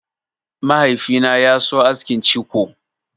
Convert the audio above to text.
Mahaifi na ya so askin ciko.